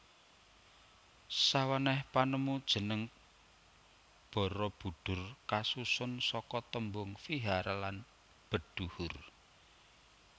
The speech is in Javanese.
Sawenèh panemu jeneng Barabudhur kasusun saka tembung vihara lan bedhuhur